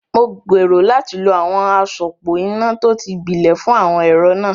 Mo gbèrò láti lo àwọn àsopọ̀ iná tó ti gbilẹ̀ fún àwọn ẹ̀rọ náà.